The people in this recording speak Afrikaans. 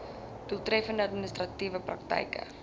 doeltreffende administratiewe praktyke